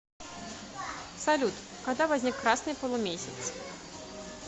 салют когда возник красный полумесяц